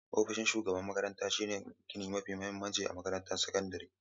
Ofishin shugaban makarantar shine gini mafi mahimmanci a makarantun sakandare.